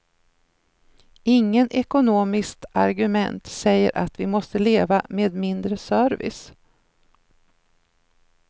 Ingen ekonomiskt argument säger att vi måste leva med mindre service.